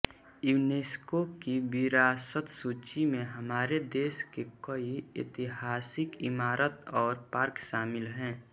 UNESCO की विरासत सूची में हमारे देश के कई ऐतिहासिक इमारत और पार्क शामिल हैं